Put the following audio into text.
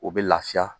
O bɛ lafiya